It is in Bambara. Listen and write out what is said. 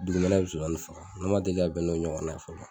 Dugumɛnɛ bɛ nsonsannin faga ne ma deli ka bɛn n'o ɲɔgɔnna ye fɔlɔ